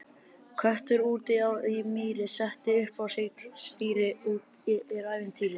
Köttur úti í mýri, setti upp á sig stýri, úti er ævintýri!